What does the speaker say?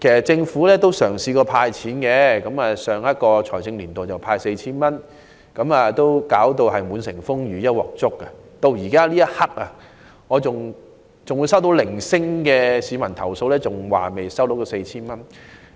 政府也曾派發現金，在上一財政年度派發了 4,000 元，但卻弄得滿城風雨及"一鑊粥"，我至今仍會收到零星的市民投訴，指出尚未收到這 4,000 元。